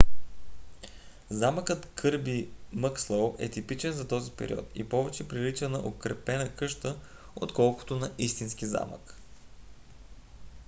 замъкът кърби мъкслоу е типичен за този период и повече прилича на укрепена къща отколкото на истински замък